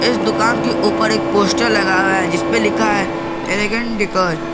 इस दुकान के ऊपर एक पोस्टर लगा हुआ है जिसपे लिखा है एलिगेंट डेकोर ।